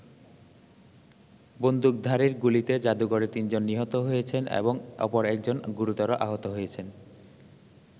বন্দুকধারীর গুলিতে জাদুঘরে তিনজন নিহত হয়েছেন এবং অপর একজন গুরুতর আহত হয়েছেন।